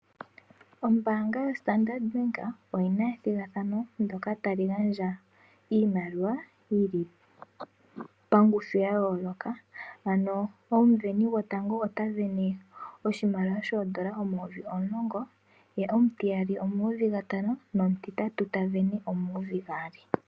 Ombaanga yo Standard Bank oyina ethigathano ndyoka tali gandja iimaliwa yili pangushu ya yooloka, ano omusindani gotango ota sindana oshimaliwa shondola omayovi omulongo, ye omutiyali omayovi gatano, no mutuitatu omayovi gaali.